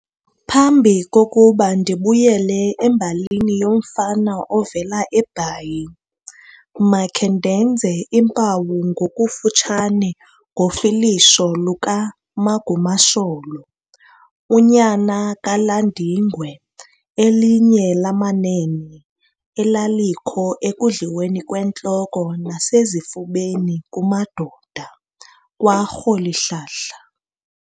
Phambi kokuba ndibuyele embalini yoMfana ovela eBhayi, makhe ndenze impawu ngokufutshane ngofilisho luka"Magumasholo", unyana kaLandingwe elinye lamanene elalikho ekudliweni kwentloko nasezifubeni, kumadoda, kwa"Rholihlahla".